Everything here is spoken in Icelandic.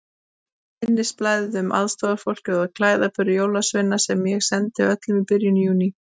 Nú minnisblaðið um aðstoðarfólk og klæðaburð jólasveina sem ég sendi öllum í byrjun Júní.